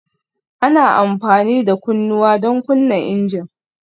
Ana amfani da kunnawa don kunna injin